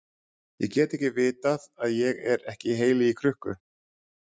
Ég get ekki vitað að ég er ekki heili í krukku.